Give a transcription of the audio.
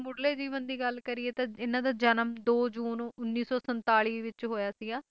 ਤੇ ਜੇ ਇਨ੍ਹਾਂ ਦੇ ਮੁਢਲੇ ਜੀਵਨ ਦੀ ਗੱਲ ਕਰੀਏ ਤਾਂ ਇਨ੍ਹਾਂ ਦਾ ਜਨਮ ਦੋ ਜੂਨ ਉੱਨੀ ਸੌ ਸੰਤਾਲੀ ਵਿੱਚ ਹੋਇਆ ਸੀ ਜਰਨੈਲ ਸਿੰਘ ਬਰਾੜ ਵੱਜੋਂ ਇੱਕ ਜੱਟ ਸਿੱਕ ਪਰਿਵਾਰ ਚ ਹੋਇਆ ਸੀ